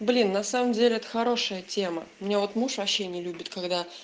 блин на самом деле это хорошая тема мне вот муж вообще не любит когда